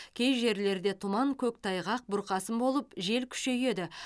кей жерлерде тұман көктайғақ бұрқасын болып жел күшейеді